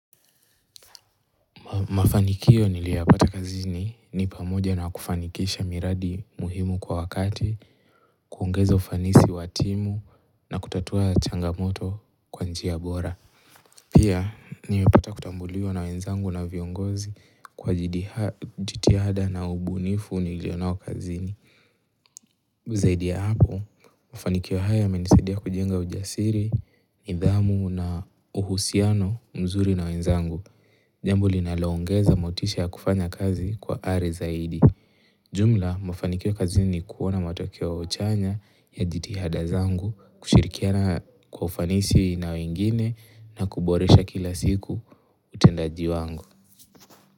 Mafanikio niliyoyapata kazini ni pamoja na kufanikisha miradi muhimu kwa wakati, kuongeza ufanisi wa timu na kutatua changamoto kwa njia bora. Pia, nimepata kutambuliwa na wenzangu na viongozi kwa jitiada na ubunifu nilio nao kazini. Zaidi ya hapo, mafanikio haya yamenisaidia kujenga ujasiri, nidhamu na uhusiano mzuri na wenzangu. Jambo linaloongeza motisha ya kufanya kazi kwa ari zaidi. Jumla, mafanikio kazini ni kuona matokeo chanya ya jitihada zangu, kushirikiana kwa ufanisi na wengine na kuboresha kila siku utendaji wangu.